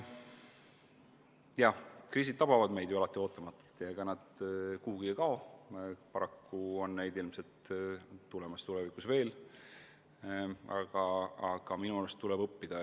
Jah, kriisid tabavad meid alati ootamatult ja ega nad kuhugi kao, ilmselt on neid tulevikus tulemas veel, aga minu arust tuleb neist õppida.